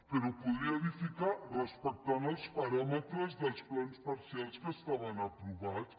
però podria edificar respectant els paràmetres del plans parcials que estaven aprovats